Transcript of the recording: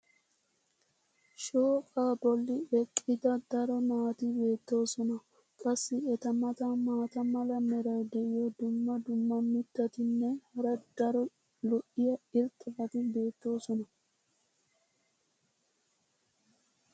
shooqaa bolli eqqida daro naati beetoosona. qassi eta matan maata mala meray diyo dumma dumma mitatinne hara daro lo'iya irxxabati beetoosona.